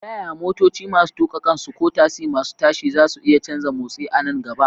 Ta yaya motoci masu tuka kansu ko tasi masu tashi zasu iya canza motsi a nan gaba?